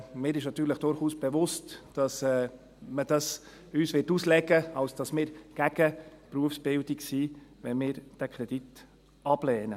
Mir ist natürlich durchaus bewusst, dass man uns dies auslegen wird, als wären wir gegen die Berufsbildung, wenn wir diesen Kredit ablehnen.